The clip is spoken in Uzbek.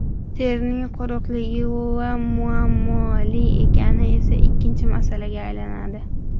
Terining quruqligi va muammoli ekani esa ikkinchi masalaga aylanadi.